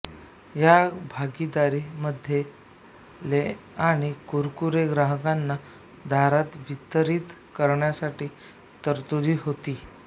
या भागीदारी मध्ये ले आणि कुरकुरे ग्राहकांना दारात वितरीत करण्यासाठीची तरतूद होती